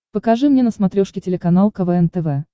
покажи мне на смотрешке телеканал квн тв